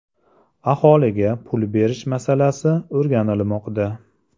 Aholiga pul berish masalasi o‘rganilmoqda.